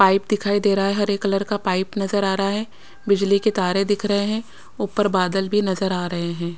Pipe दिखाई दे रहा है हरे कलर का पाइप नजर आ रहा है बिजली के तारे दिख रहे हैं ऊपर बादल भी नजर आ रहे हैं।